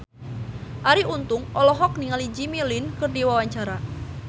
Arie Untung olohok ningali Jimmy Lin keur diwawancara